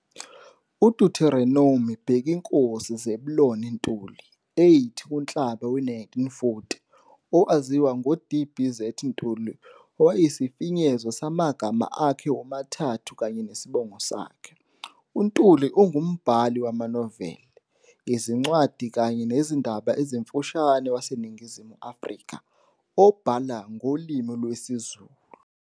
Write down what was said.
UDeuteronomy Bhekinkosi Zeblon Ntuli, 08 kuNhlaba we-1940, owaziwa ngoD.B. Z. Ntuli okuyisifinyezo samagama akhe womathathu kanye nesibongo sakhe. UNtuli ungumbhali wamanoveli, izincwadi kanye nezindaba ezimfushane waseNingizimu Afrika, obhala ngolimi lwesiZulu.